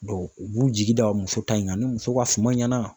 u b'u jigi da muso ta in kan ni muso ka suman ɲɛna